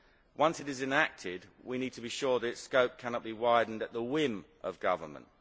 Once it is enacted we need to be sure that its scope cannot be widened at the whim of government.